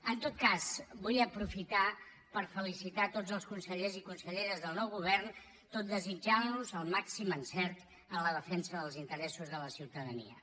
en tot cas vull aprofitar per felicitar tots els consellers i conselleres del nou govern tot desitjant los el màxim encert en la defensa dels interessos de la ciutadania